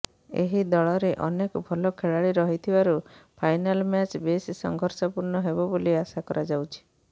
ଏହି ଦଳରେ ଅନେକ ଭଲ ଖେଳାଳି ରହିଥିବାରୁ ଫାଇନାଲ୍ ମ୍ୟାଚ୍ ବେଶ୍ ସଂଘର୍ଷପୂର୍ଣ୍ଣ ହେବ ବୋଲି ଆଶା କରାଯାଉଛି